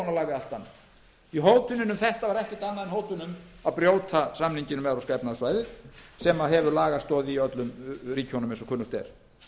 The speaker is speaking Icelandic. annað því hótunin um þetta var ekkert annað en hótun um að brjóta samninginn um evrópska efnahagssvæðið sem hefur lagastoð í öllum ríkjunum eins og kunnugt er